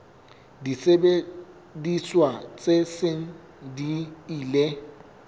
disebediswa tse seng di ile